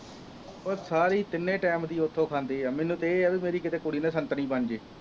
ਉਹ ਸਾਰੀ ਤਿੰਨੋਂ time ਦੀ ਉੱਥੋਂ ਖਾਦੇ ਹੈ, ਮੈਨੂੰ ਤਾਂ ਇਹ ਹੈ ਬਈ ਮੇਰੀ ਕਿਤੇ ਕੁੜੀ ਨਾ ਸੰਤਰੀ ਬਣ ਜਾਏ।